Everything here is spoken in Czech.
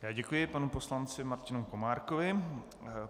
Já děkuji panu poslanci Martinu Komárkovi.